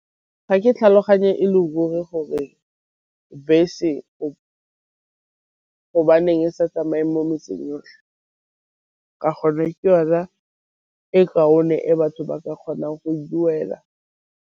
Ga ke tlhaloganye e le ruri gore bese go hobaneng e sa tsamayeng mo metseng yotlhe, ka gonne ke yona e kaone e batho ba ka kgonang go duela.